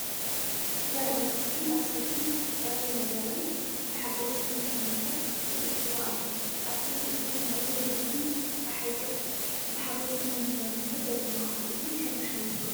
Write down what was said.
ጓል ኣንስተይቲ ኣብ ሰፍኢ ጥረ ዝነበረ እኽሊ ብሓጎስ እናጠመተት ትብፅሮ ኣላ፡ ኣብቲ ቅዱስ መሬት ብብርሃን ጸሓይ ገጻ ብሓጎስ እናተመላለሰት ዘደንቕ ስእሊ ሕርሻዊ ህይወት እዩ።